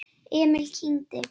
Emil kyngdi.